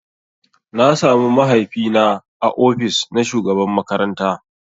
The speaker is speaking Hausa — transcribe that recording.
Na samu mahaifi na ã ofis na shugaban makaranta.